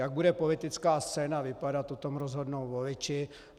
Jak bude politická scéna vypadat, o tom rozhodnou voliči.